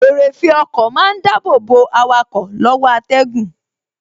Eréfèé ọkọ má ń dàbọ̀ bo awakọ̀ lọ́wọ́ atẹ́gùn